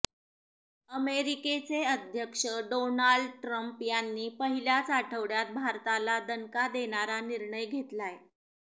अमेरिकेचे अध्यक्ष Donald Trump यांनी पहिल्याच आठवड्यात भारताला दणका देणारा निर्णय घेतलाय